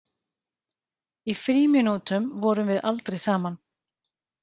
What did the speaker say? Í frímínútum vorum við aldrei saman.